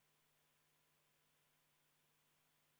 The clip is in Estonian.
Kui esitaja soovib katkestamise ettepanekut tagasi võtta, kas seda saab?